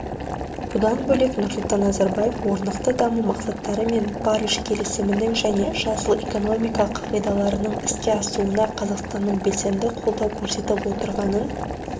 бұдан бөлек нұрсұлтан назарбаев орнықты даму мақсаттары мен париж келісімінің және жасыл экономика қағидаларының іске асуына қазақстанның белсенді қолдау көрсетіп отырғанын